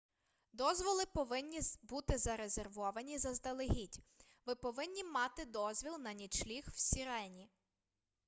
дозволи повинні бути зарезервовані заздалегідь ви повинні мати дозвіл на нічліг в сірені